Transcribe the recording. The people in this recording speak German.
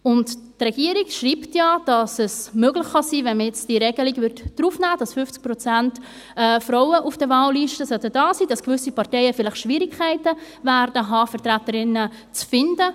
Die Regierung schreibt ja, dass – sollte man die Regelung aufnehmen, wonach 50 Prozent Frauen auf den Wahllisten stehen sollten – es möglich sein kann, dass gewisse Parteien vielleicht Schwierigkeiten hätten, Vertreterinnen zu finden.